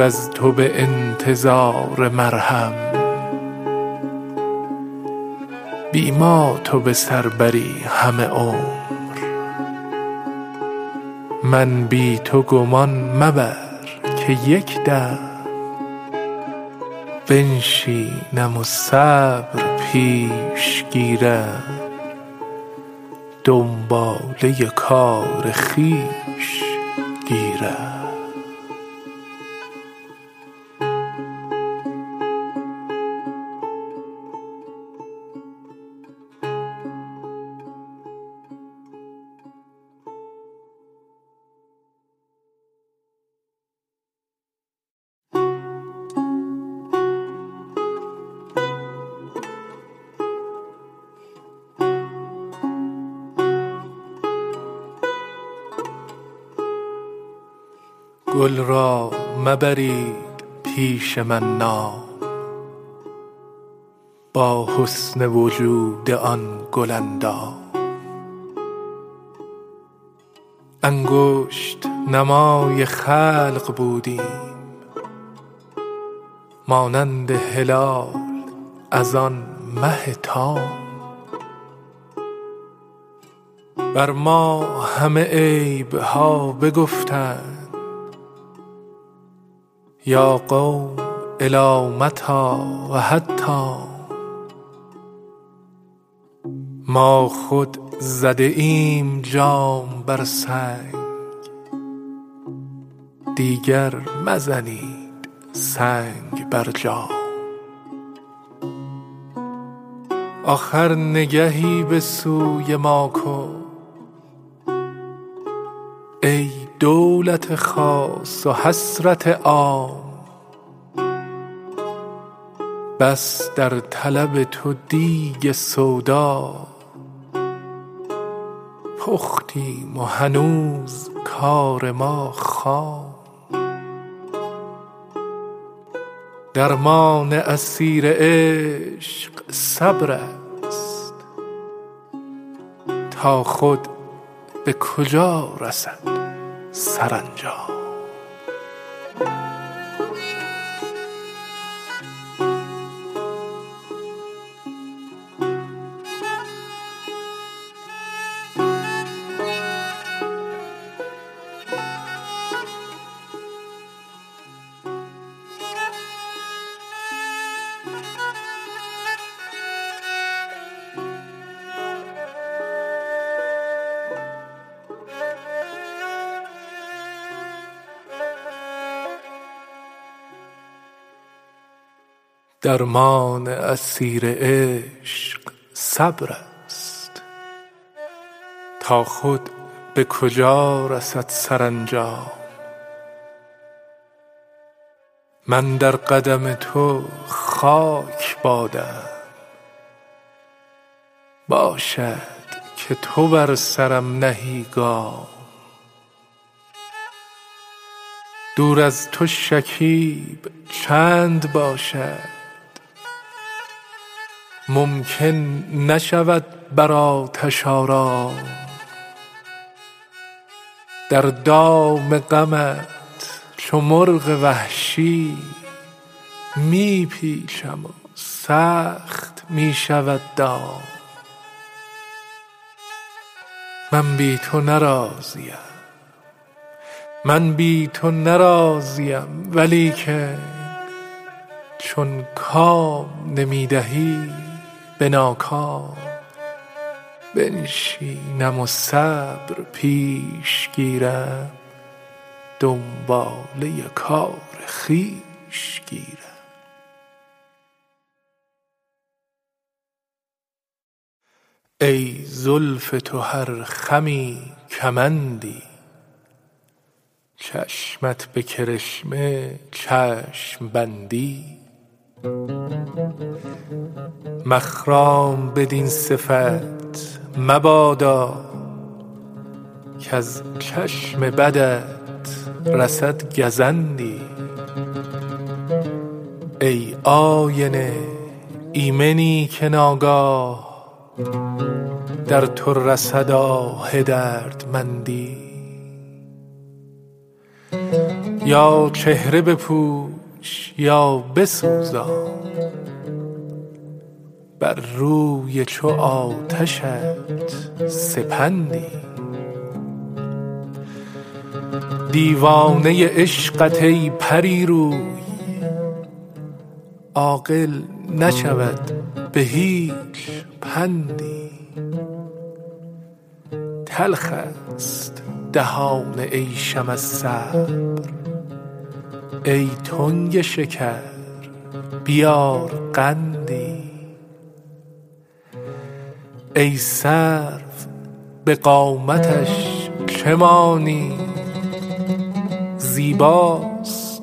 از تو به انتظار مرهم بی ما تو به سر بری همه عمر من بی تو گمان مبر که یک دم بنشینم و صبر پیش گیرم دنباله کار خویش گیرم گل را مبرید پیش من نام با حسن وجود آن گل اندام انگشت نمای خلق بودیم مانند هلال از آن مه تام بر ما همه عیب ها بگفتند یا قوم إلی متیٰ و حتام ما خود زده ایم جام بر سنگ دیگر مزنید سنگ بر جام آخر نگهی به سوی ما کن ای دولت خاص و حسرت عام بس در طلب تو دیگ سودا پختیم و هنوز کار ما خام درمان اسیر عشق صبرست تا خود به کجا رسد سرانجام من در قدم تو خاک بادم باشد که تو بر سرم نهی گام دور از تو شکیب چند باشد ممکن نشود بر آتش آرام در دام غمت چو مرغ وحشی می پیچم و سخت می شود دام من بی تو نه راضیم ولیکن چون کام نمی دهی به ناکام بنشینم و صبر پیش گیرم دنباله کار خویش گیرم ای زلف تو هر خمی کمندی چشمت به کرشمه چشم بندی مخرام بدین صفت مبادا کز چشم بدت رسد گزندی ای آینه ایمنی که ناگاه در تو رسد آه دردمندی یا چهره بپوش یا بسوزان بر روی چو آتشت سپندی دیوانه عشقت ای پری روی عاقل نشود به هیچ پندی تلخ ست دهان عیشم از صبر ای تنگ شکر بیار قندی ای سرو به قامتش چه مانی زیباست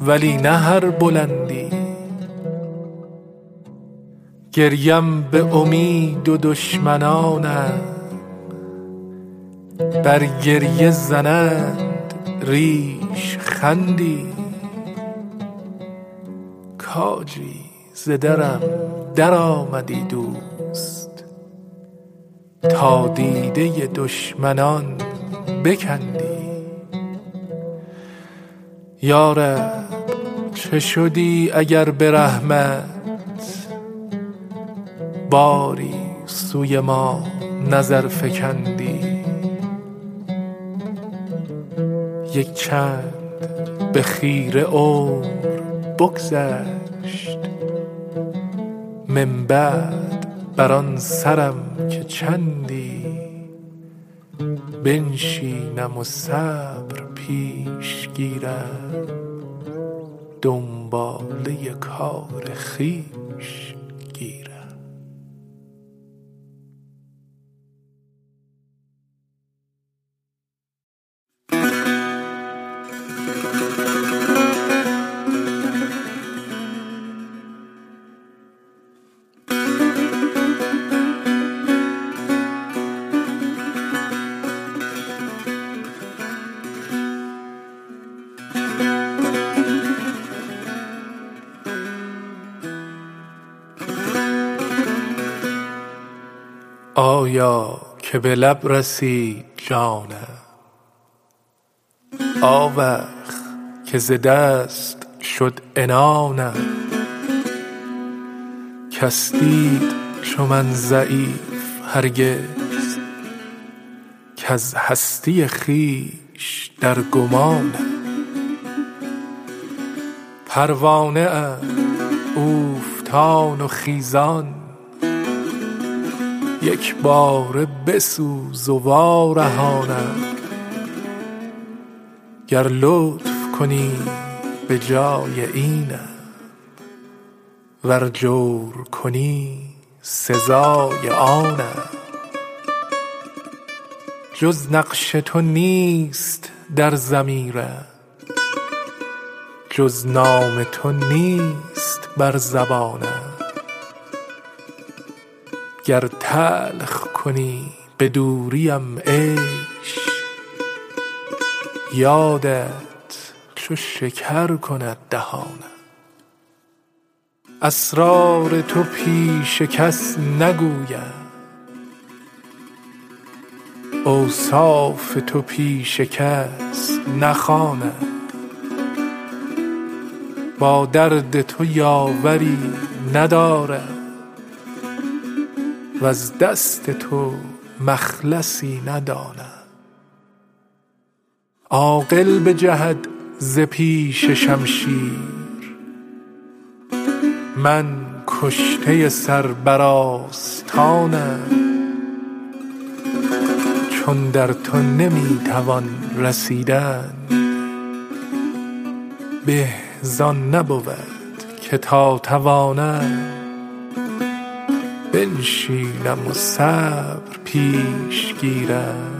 ولی نه هر بلندی گریم به امید و دشمنانم بر گریه زنند ریشخندی کاجی ز درم درآمدی دوست تا دیده دشمنان بکندی یا رب چه شدی اگر به رحمت باری سوی ما نظر فکندی یک چند به خیره عمر بگذشت من بعد بر آن سرم که چندی بنشینم و صبر پیش گیرم دنباله کار خویش گیرم آیا که به لب رسید جانم آوخ که ز دست شد عنانم کس دید چو من ضعیف هرگز کز هستی خویش در گمانم پروانه ام اوفتان و خیزان یک باره بسوز و وارهانم گر لطف کنی به جای اینم ور جور کنی سزای آنم جز نقش تو نیست در ضمیرم جز نام تو نیست بر زبانم گر تلخ کنی به دوریم عیش یادت چو شکر کند دهانم اسرار تو پیش کس نگویم اوصاف تو پیش کس نخوانم با درد تو یاوری ندارم وز دست تو مخلصی ندانم عاقل بجهد ز پیش شمشیر من کشته سر بر آستانم چون در تو نمی توان رسیدن به زآن نبود که تا توانم بنشینم و صبر پیش گیرم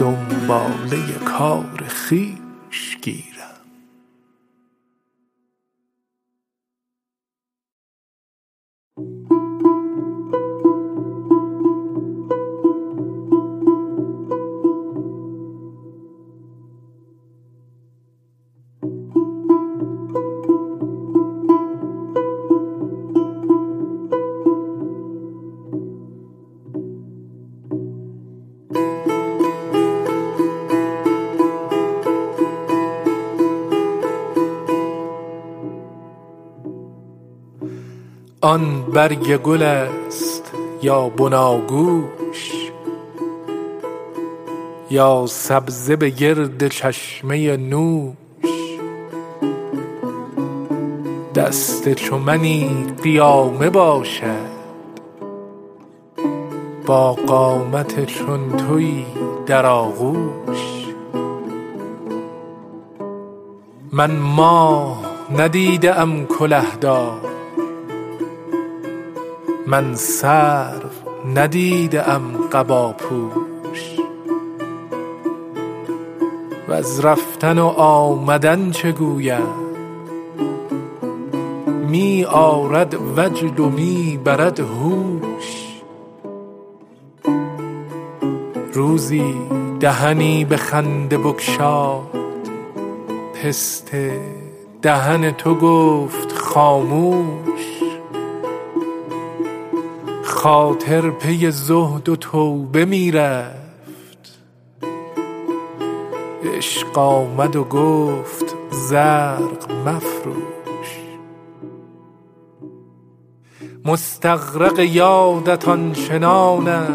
دنباله کار خویش گیرم آن برگ گل ست یا بناگوش یا سبزه به گرد چشمه نوش دست چو منی قیامه باشد با قامت چون تویی در آغوش من ماه ندیده ام کله دار من سرو ندیده ام قباپوش وز رفتن و آمدن چه گویم می آرد وجد و می برد هوش روزی دهنی به خنده بگشاد پسته دهن تو گفت خاموش خاطر پی زهد و توبه می رفت عشق آمد و گفت زرق مفروش مستغرق یادت آن چنانم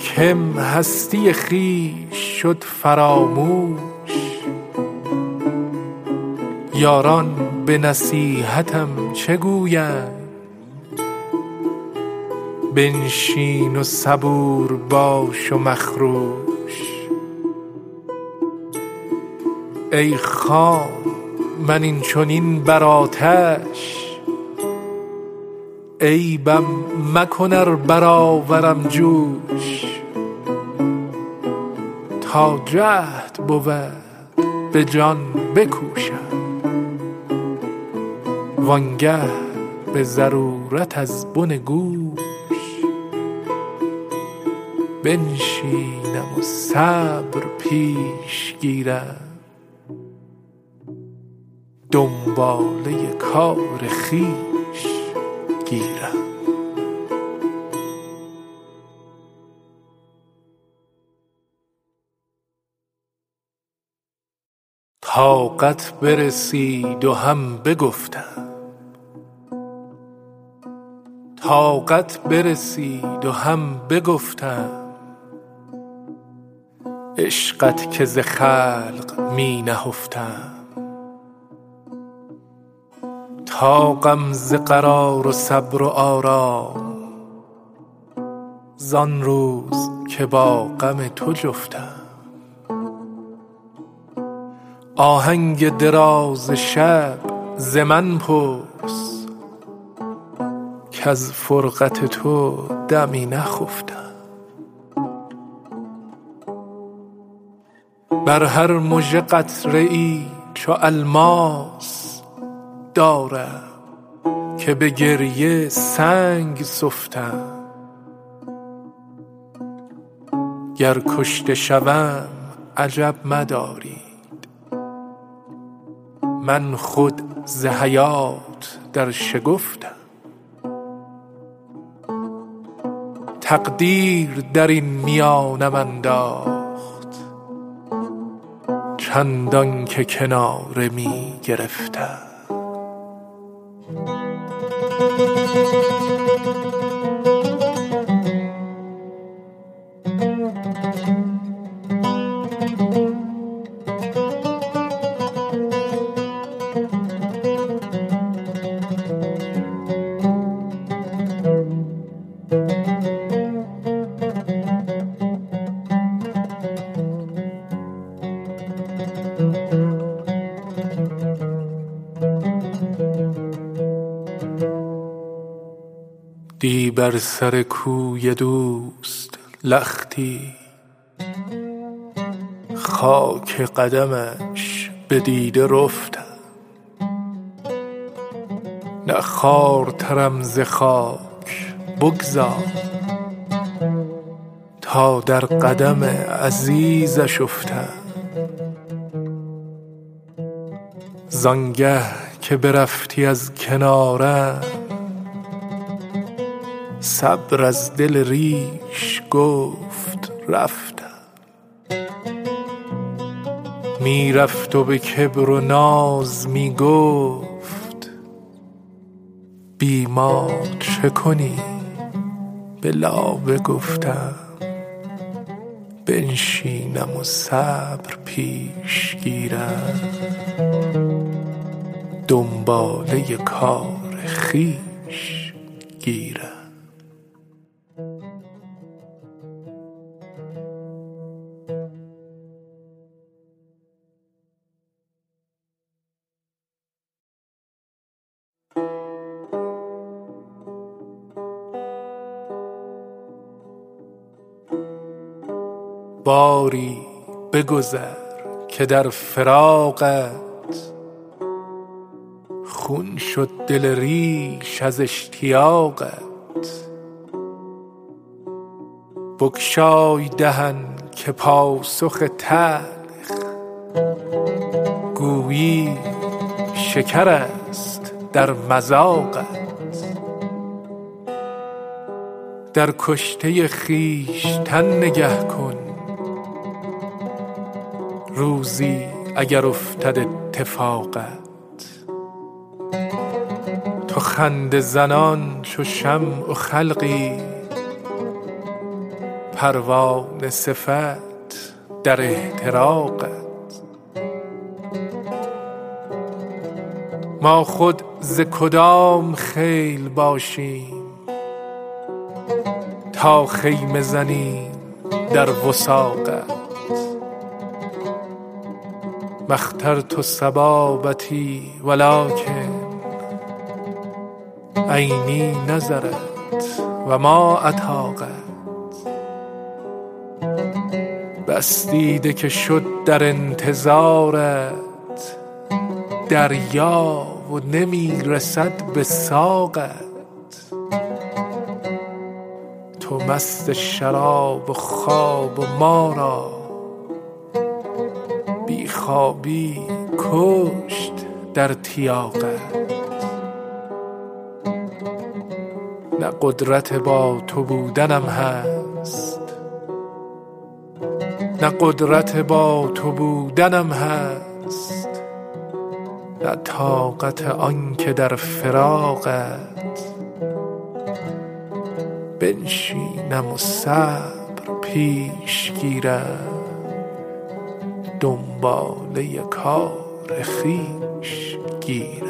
کم هستی خویش شد فراموش یاران به نصیحتم چه گویند بنشین و صبور باش و مخروش ای خام من این چنین بر آتش عیبم مکن ار برآورم جوش تا جهد بود به جان بکوشم وآن گه به ضرورت از بن گوش بنشینم و صبر پیش گیرم دنباله کار خویش گیرم طاقت برسید و هم بگفتم عشقت که ز خلق می نهفتم طاقم ز فراق و صبر و آرام زآن روز که با غم تو جفتم آهنگ دراز شب ز من پرس کز فرقت تو دمی نخفتم بر هر مژه قطره ای چو الماس دارم که به گریه سنگ سفتم گر کشته شوم عجب مدارید من خود ز حیات در شگفتم تقدیر درین میانم انداخت چندان که کناره می گرفتم دی بر سر کوی دوست لختی خاک قدمش به دیده رفتم نه خوارترم ز خاک بگذار تا در قدم عزیزش افتم زآن گه که برفتی از کنارم صبر از دل ریش گفت رفتم می رفت و به کبر و ناز می گفت بی ما چه کنی به لابه گفتم بنشینم و صبر پیش گیرم دنباله کار خویش گیرم باری بگذر که در فراقت خون شد دل ریش از اشتیاقت بگشای دهن که پاسخ تلخ گویی شکرست در مذاقت در کشته خویشتن نگه کن روزی اگر افتد اتفاقت تو خنده زنان چو شمع و خلقی پروانه صفت در احتراقت ما خود ز کدام خیل باشیم تا خیمه زنیم در وثاقت ما اخترت صبابتی ولکن عینی نظرت و ما اطاقت بس دیده که شد در انتظارت دریا و نمی رسد به ساقت تو مست شراب و خواب و ما را بی خوابی بکشت در تیاقت نه قدرت با تو بودنم هست نه طاقت آن که در فراقت بنشینم و صبر پیش گیرم دنباله کار خویش گیرم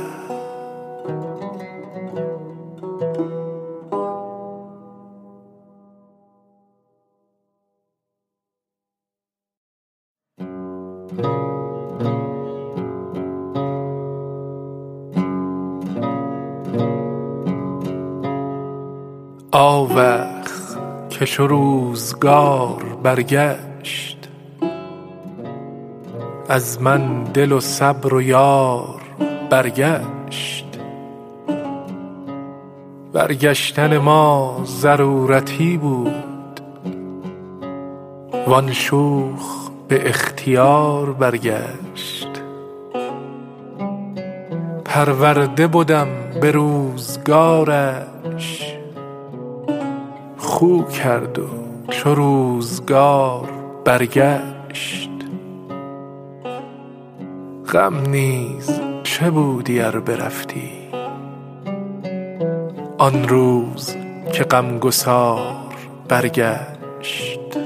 آوخ که چو روزگار برگشت از من دل و صبر و یار برگشت برگشتن ما ضرورتی بود وآن شوخ به اختیار برگشت پرورده بدم به روزگارش خو کرد و چو روزگار برگشت غم نیز چه بودی ار برفتی آن روز که غم گسار برگشت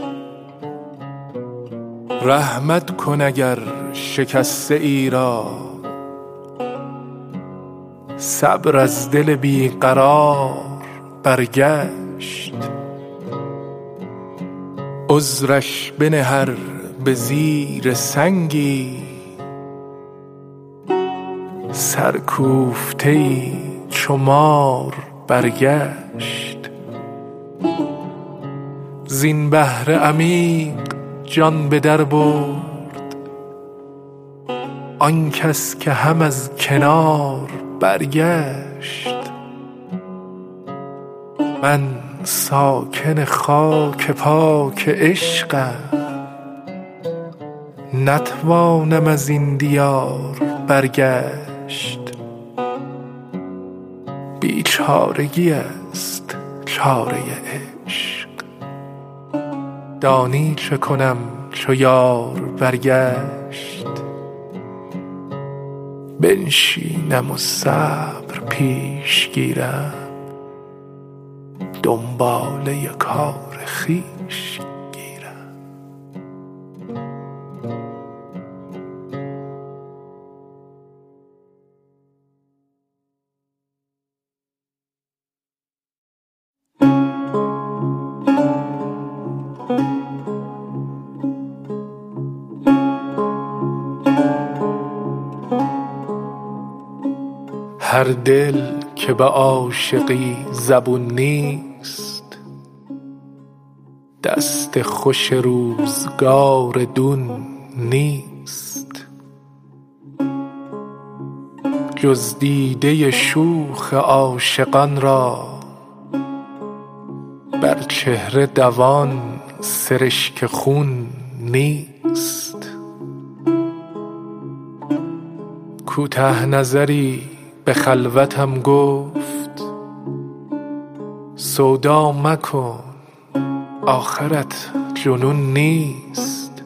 رحمت کن اگر شکسته ای را صبر از دل بی قرار برگشت عذرش بنه ار به زیر سنگی سرکوفته ای چو مار برگشت زین بحر عمیق جان به در برد آن کس که هم از کنار برگشت من ساکن خاک پاک عشقم نتوانم ازین دیار برگشت بیچارگی ست چاره عشق دانی چه کنم چو یار برگشت بنشینم و صبر پیش گیرم دنباله کار خویش گیرم هر دل که به عاشقی زبون نیست دست خوش روزگار دون نیست جز دیده شوخ عاشقان را بر چهره دوان سرشک خون نیست کوته نظری به خلوتم گفت سودا مکن آخرت جنون نیست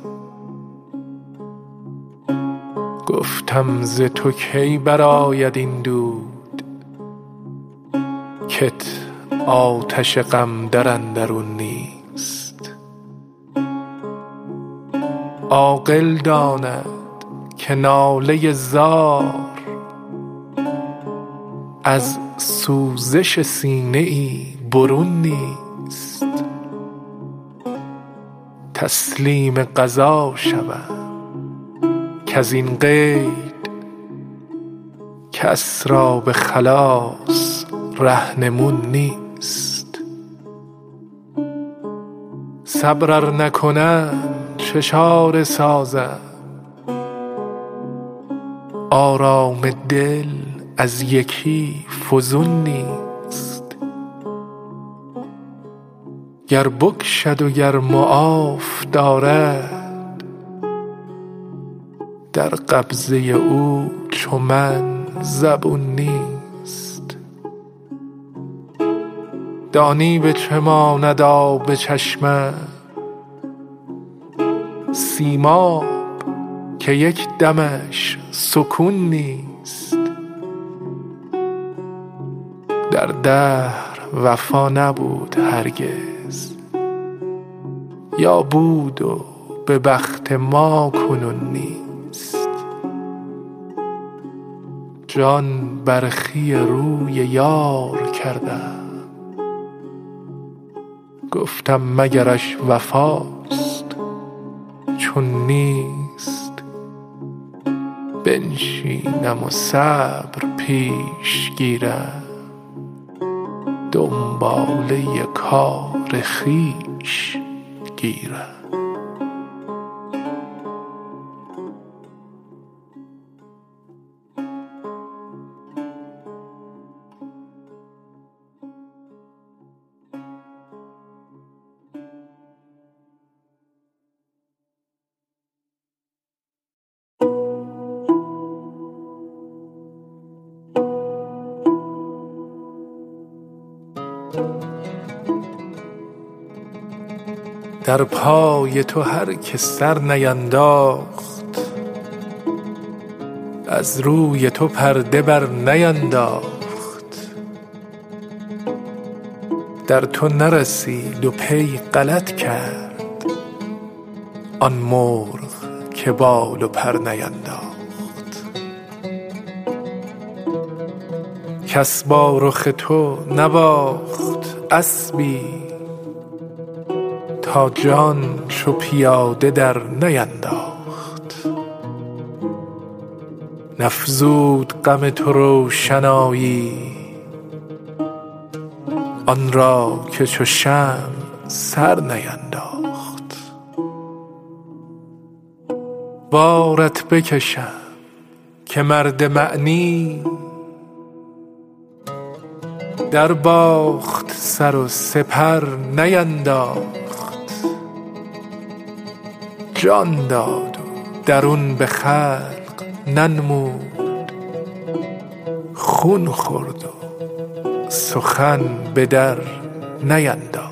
گفتم ز تو کی برآید این دود کت آتش غم در اندرون نیست عاقل داند که ناله زار از سوزش سینه ای برون نیست تسلیم قضا شود کزین قید کس را به خلاص رهنمون نیست صبر ار نکنم چه چاره سازم آرام دل از یکی فزون نیست گر بکشد و گر معاف دارد در قبضه او چو من زبون نیست دانی به چه ماند آب چشمم سیماب که یک دمش سکون نیست در دهر وفا نبود هرگز یا بود و به بخت ما کنون نیست جان برخی روی یار کردم گفتم مگرش وفاست چون نیست بنشینم و صبر پیش گیرم دنباله کار خویش گیرم در پای تو هر که سر نینداخت از روی تو پرده بر نینداخت در تو نرسید و پی غلط کرد آن مرغ که بال و پر نینداخت کس با رخ تو نباخت اسبی تا جان چو پیاده در نینداخت نفزود غم تو روشنایی آن را که چو شمع سر نینداخت بارت بکشم که مرد معنی در باخت سر و سپر نینداخت جان داد و درون به خلق ننمود خون خورد و سخن به در نینداخت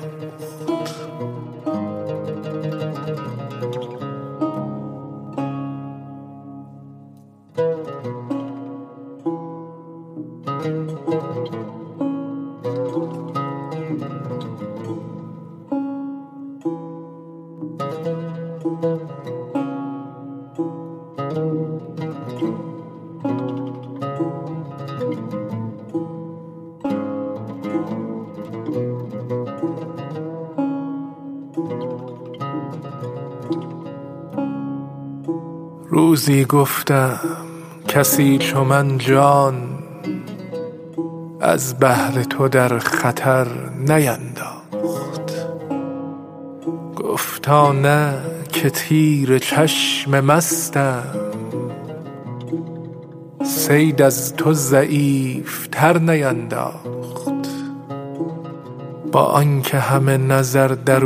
روزی گفتم کسی چو من جان از بهر تو در خطر نینداخت گفتا نه که تیر چشم مستم صید از تو ضعیف تر نینداخت با آن که همه نظر در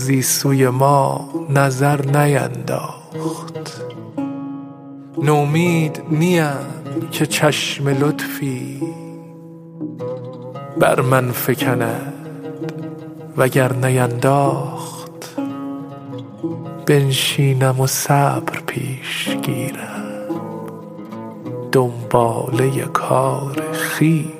اویم روزی سوی ما نظر نینداخت نومید نیم که چشم لطفی بر من فکند وگر نینداخت بنشینم و صبر پیش گیرم دنباله کار خویش گیرم ای بر تو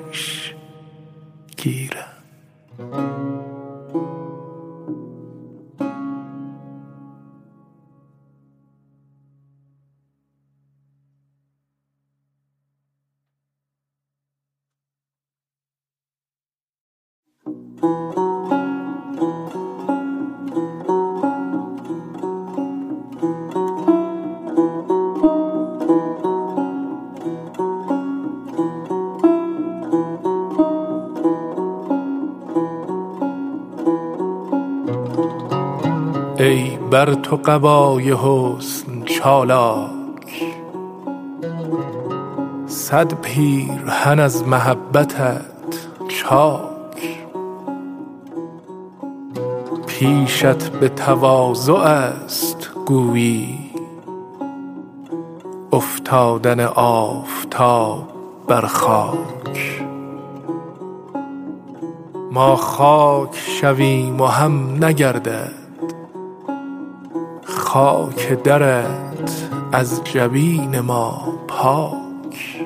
قبای حسن چالاک صد پیرهن از محبتت چاک پیشت به تواضع ست گویی افتادن آفتاب بر خاک ما خاک شویم و هم نگردد خاک درت از جبین ما پاک